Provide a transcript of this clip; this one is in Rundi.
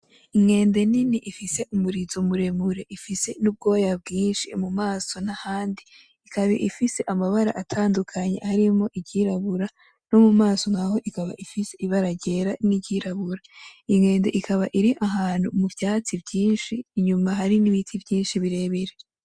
Inkende nini ifise umurizo muremure ifise n'ubwoya bwinshi mu maso nahandi ikaba ifise amabara atandukanye harimwo iry'irabura no mu maso ikaba ifise ibara ry'era ni ry'irabura iyo nkende ikaba iri ahantu mu vyatsi vyinshi inyuma hari n'ibiti vyinshi birebire.